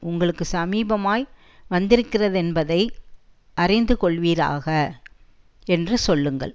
உங்களுக்கு சமீபமாய் வந்திருக்கிறதென்பதை அறிந்துகொள்வீராக என்று சொல்லுங்கள்